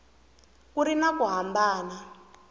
ku ri na ku hambana